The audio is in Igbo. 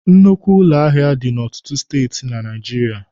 Nnukwu ụlọ ahịa dị n'ọtụtụ Steeti na Naijiria.